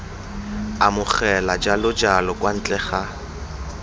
amogela jalojalo kwa ntle ga